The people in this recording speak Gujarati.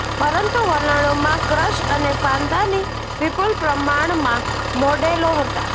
પરંતુ વલણોમાં ક્રસ અને ફાંદાની વિપુલ પ્રમાણમાં મોડેલો હતા